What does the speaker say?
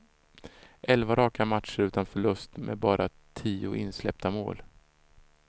Elva raka matcher utan förlust och med bara tio insläppta mål.